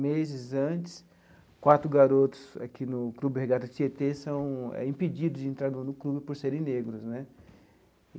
Meses antes, quatro garotos aqui no Clube Regata Tietê são impedidos de entrarem no clube por serem negros né.